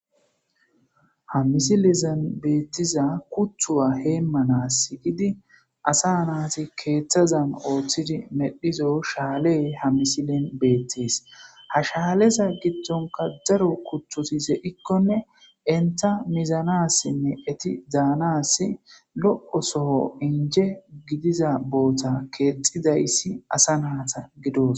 Ha misilezan betiza kutuwa heemanasi giidi asa nati keethazan oothid medhizo shaaley ha misilen beetesi, ha shaaleza gidonka daro kutoti de'ikonne enta mizanasinne eti danas lo'iza soho inje gidiza boota keexidaysi asa nata gidosi.